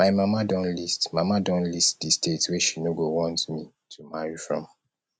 my mama don list mama don list the state wey she no go want me to marry from